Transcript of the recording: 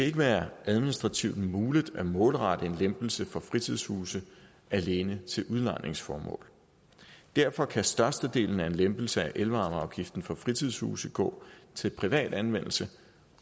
ikke være administrativt muligt at målrette en lempelse for fritidshuse alene til udlejningsformål derfor kan størstedelen af en lempelse af elvarmeafgiften for fritidshuse gå til privat anvendelse